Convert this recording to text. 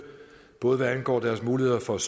både hvad angår deres muligheder for at